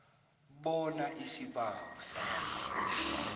bona isibawo sakho